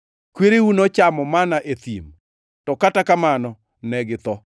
Kwereu nochamo manna e thim, to kata kamano ne githo.